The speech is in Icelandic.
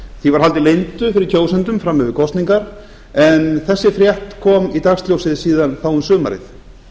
því var haldið leyndu fyrir kjósendum fram yfir kosningar en þessi frétt kom í dagsljósið síðar þá um sumarið